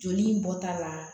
Joli bɔta la